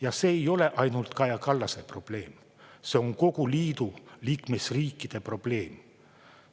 Ja see ei ole ainult Kaja Kallase probleem, see on kogu liidu liikmesriikide probleem.